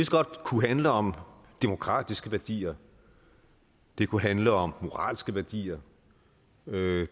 godt handle om demokratiske værdier det kunne handle om moralske værdier